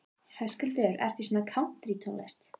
Höskuldur: Ertu í svona kántrítónlist?